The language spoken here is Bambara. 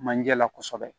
Manje la kosɛbɛ